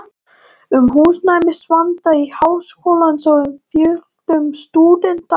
um húsnæðisvanda Háskólans og um fjölgun stúdenta